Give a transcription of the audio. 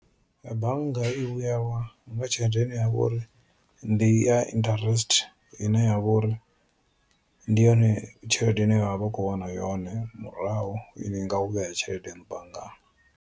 Bannga i vhuya wa nga tshelede ine yavho uri ndi ya interest ine yavho uri ndi yone tshelede ine vhavha vha khou wana yone murahu u vhea tshelede yaṋu banngani.